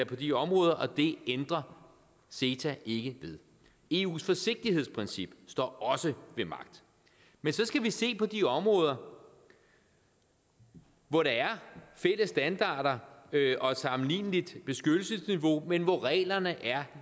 på de områder og det ændrer ceta ikke ved eus forsigtighedsprincip står også ved magt men så skal vi se på de områder hvor der er fælles standarder og sammenligneligt beskyttelsesniveau men hvor reglerne er